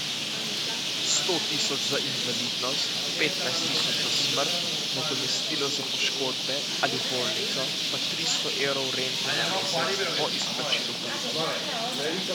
Sto tisoč za invalidnost, petnajst tisoč za smrt, nadomestilo za poškodbe ali bolnico, pa tristo evrov rente na mesec, po izplačilu police.